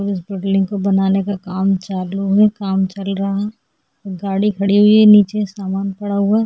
इस बिल्डिंग को बनाने का काम चालू है काम चल रहा गाड़ी खड़ी हुई है नीचे सामान पड़ा हुआ --